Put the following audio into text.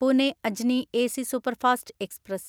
Pune Ajni AC superfast express